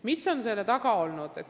Mis on selle taga olnud?